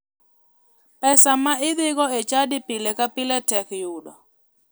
Pesa ma idhigo e chadi pile ka pile tek yudo.